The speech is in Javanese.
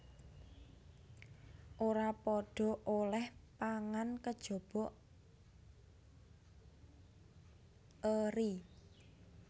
Ora padha olèh pangan kejaba eri